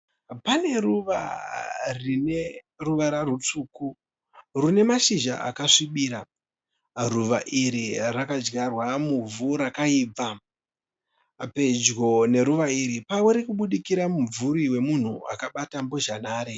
Pane ruva rine ruvara rutsvuku rune mashizha akasvibira. Ruva iri rakadyarwa muvhu rakaibva. Pedyo neruva iri pari kubudikira mumvuri wemunhi akabata mbozha nhare.